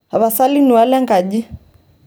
tapasali nuaa lenkaji